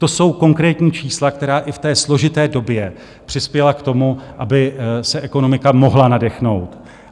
To jsou konkrétní čísla, která i v té složité době přispěla k tomu, aby se ekonomika mohla nadechnout.